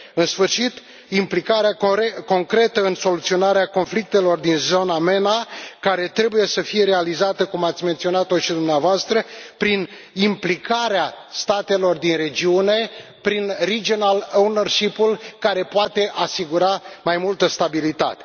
În sfârșit, implicarea concretă în soluționarea conflictelor din zona MENA care trebuie să fie realizată, cum ați menționat și dumneavoastră, prin implicarea statelor din regiune, prin care poate asigura mai multă stabilitate.